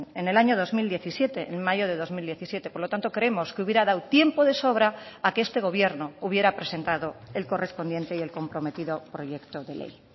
en el año dos mil diecisiete en mayo de dos mil diecisiete por lo tanto creemos que hubiera dado tiempo de sobra a que este gobierno hubiera presentado el correspondiente y el comprometido proyecto de ley